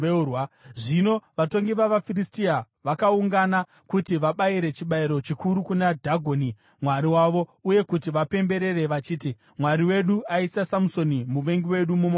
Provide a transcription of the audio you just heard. Zvino vatongi vavaFiristia vakaungana kuti vabayire chibayiro chikuru kuna Dhagoni mwari wavo uye kuti vapemberere vachiti, “Mwari wedu aisa Samusoni, muvengi wedu, mumaoko edu.”